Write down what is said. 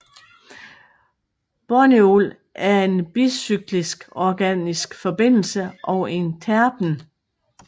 Borneol er en bicyklisk organisk forbindelse og en terpen